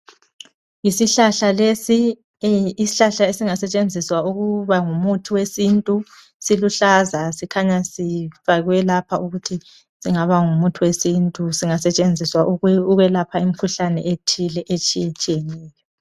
Isihlahla lesi, isihlahla esingasetshenziswa ukuba ngumuthi wesintu. Siluhlaza sikhanya sifakwe lapha ukuthi singaba ngumuthi wesintu singasetshenziswa ukwelapha imikhuhlane ethile etshiyetshiyeneyo.